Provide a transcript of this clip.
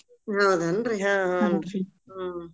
ಹೌದನ್ರಿ ಹಾ ಹೂನ್ರಿ ಹೂ ಹೂ.